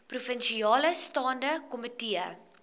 provinsiale staande komitee